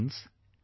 Friends,